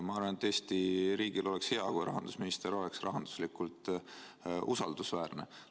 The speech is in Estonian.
Ma arvan, et Eesti riigile oleks hea, kui rahandusminister oleks rahanduslikult usaldusväärne.